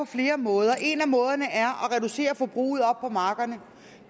flere måder en af måderne er at reducere forbruget oppe på markerne